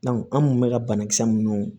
an kun bɛ ka banakisɛ minnu